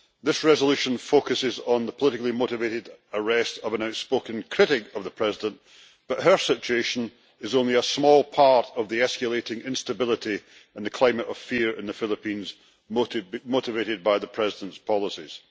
This resolution focuses on the politically motivated arrest of an outspoken critic of the President, but her situation is only a small part of the escalating instability and the climate of fear in the Philippines, motivated by the President's policies.